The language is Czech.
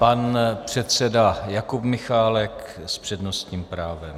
Pan předseda Jakub Michálek s přednostním právem.